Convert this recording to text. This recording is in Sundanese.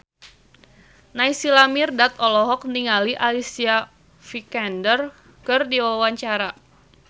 Naysila Mirdad olohok ningali Alicia Vikander keur diwawancara